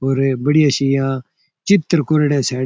और बढ़िया सा यहा चित्र कोरेडा है सायद।